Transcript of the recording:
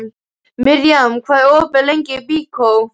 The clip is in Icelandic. Mirjam, hvað er opið lengi í Byko?